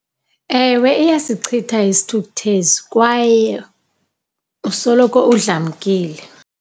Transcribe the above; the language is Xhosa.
Ewe iyasicitha isithukuthezi, kwaye usoloko udlamkile.